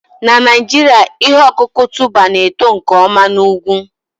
Na Naijiria, ihe ọkụkụ tuber na-eto nke ọma na ugwu